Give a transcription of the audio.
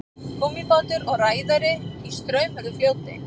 Gúmmíbátur og ræðari í straumhörðu fljóti.